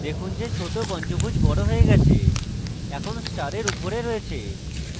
দেখুন যে এখন ছোট পঞ্চভূজ বড় হয়ে গেছে এখন স্টারের উপরে রয়েছে